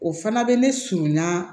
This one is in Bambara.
O fana bɛ ne surunya